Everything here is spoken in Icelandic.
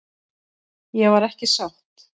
Ég var ekki sátt.